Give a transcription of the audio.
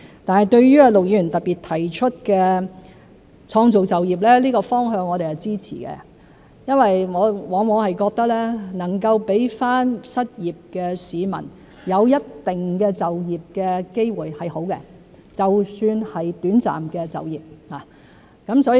對於陸議員特別提出的創造就業，這個方向我們支持，因為我們往往覺得能夠讓失業市民有一定的就業機會是好的，就算是短暫的就業。